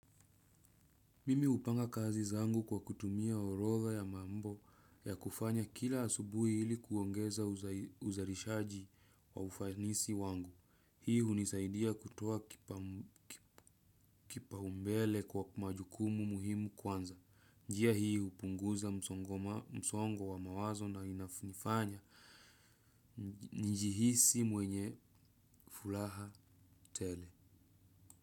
Mimi hupanga kazi zangu kwa kutumia orodha ya mambo ya kufanya kila asubuhi hili kuongeza uzalishaji wa ufanisi wangu. Hii hunisaidia kutoa kipaumbele kwa majukumu muhimu kwanza. Njia hii hupunguza msongo wa mawazo na inanifanya nijihisi mwenye furaha tele.